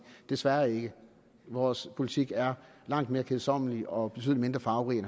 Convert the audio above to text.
desværre ikke vores politik er langt mere kedsommelig og betydelig mindre farverig